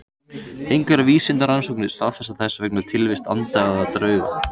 Engar vísindarannsóknir staðfesta þess vegna tilvist anda eða drauga.